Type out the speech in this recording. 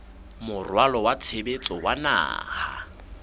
moralo wa tshebetso wa naha